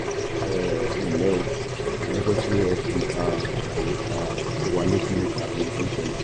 um ẹnlẹ́ o a dúpẹ́ pé ẹ fi um àlàyé um tó wa létí nípa ohun tó ń ṣẹlẹ̀